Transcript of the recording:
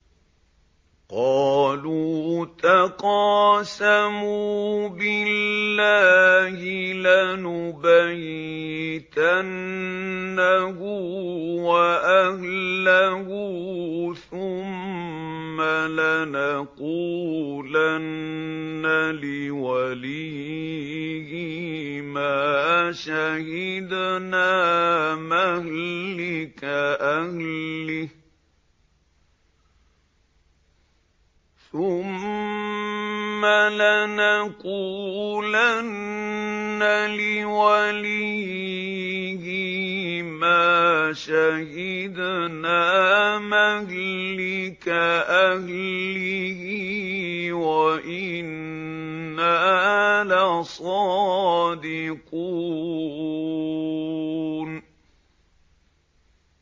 قَالُوا تَقَاسَمُوا بِاللَّهِ لَنُبَيِّتَنَّهُ وَأَهْلَهُ ثُمَّ لَنَقُولَنَّ لِوَلِيِّهِ مَا شَهِدْنَا مَهْلِكَ أَهْلِهِ وَإِنَّا لَصَادِقُونَ